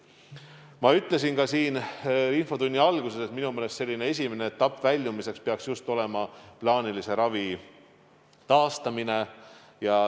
Ma ütlesin ka infotunni alguses, et minu meelest peaks esimene etapp väljumiseks olema just plaanilise ravi taastamine.